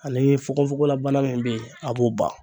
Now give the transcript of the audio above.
Ani fugofugolabana min bɛ yen a b'o ban.